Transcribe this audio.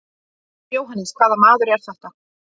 JÓHANNES: Hvaða maður er þetta?